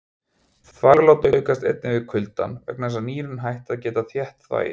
Þvaglát aukast einnig við kuldann vegna þess að nýrun hætta að geta þétt þvagið.